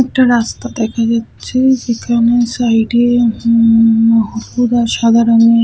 একটা রাস্তা দেখা যাচ্ছে যেখানে সাইড -এ উমম সাদা রংয়ের ।